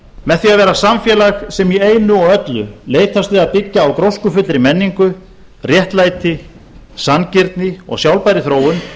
með því að vera samfélag sem í einu og öllu leitast við að byggja á gróskufullri menningu réttlæti sanngirni og sjálfbærri þróun